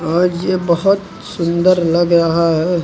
और ये बहोत सुंदर लग रहा है।